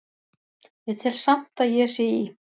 Ég tel samt að ég sé í